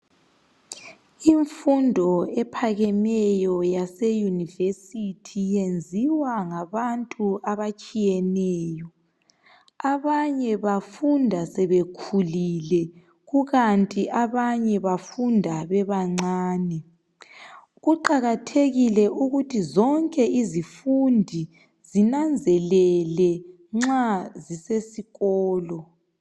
Imfundo ephakemeyo yase yunivesithi yenziwa ngabantu abatshiyeneyo. Abanye bafunda sebekhulile, kukanti abanye bafunda bebancane. Kuqakathekile ukuthi zonke izifundi zinanzelele nxa zisesikolo